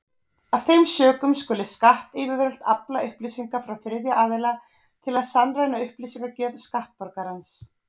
Af þeim sökum skulu skattyfirvöld afla upplýsinga frá þriðja aðila til að sannreyna upplýsingagjöf skattborgarans.